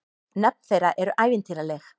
Nöfn þeirra eru ævintýraleg.